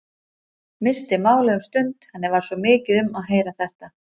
Missti málið um stund, henni varð svo mikið um að heyra þetta.